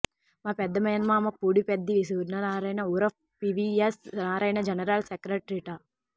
మా పెద్ద మేనమామ పూడిపెద్ది సూర్యనారాయణ ఉరఫ్ పివియస్ నారాయణ జనరల్ సెక్రటరీట